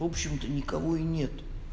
в общем то никого и нет